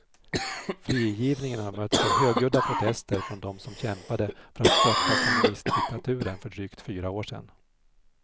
Frigivningen har mötts av högljudda protester från dem som kämpade för att störta kommunistdiktaturen för drygt fyra år sedan.